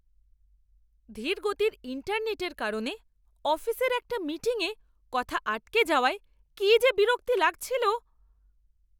ধীরগতির ইন্টারনেটের কারণে অফিসের একটা মিটিংয়ে কথা আটকে যাওয়ায় কি যে বিরক্ত লাগছিল!